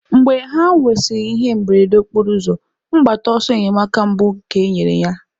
Mgbe ha nwesịrị ihe mberede okporoụzọ, mgbata ọsọ enyemaka mbụ ka enyere ya.